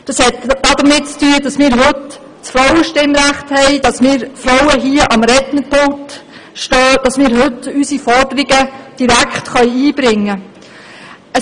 Es hat etwas damit zu tun, dass wir heute das Frauenstimmrecht haben, dass wir Frauen heute hier am Rednerpult stehen und unsere Forderungen direkt einbringen können.